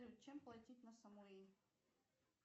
чем платить на самуи